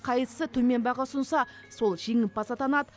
қайсысы төмен баға ұсынса сол жеңімпаз атанады